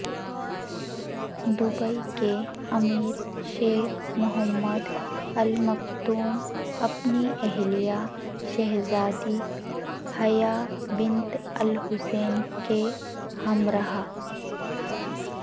Dubai کے امیر شیخ محمد المکتوم اپنی اہلیہ شہزادی حیا بنت الحسین کے ہمراہ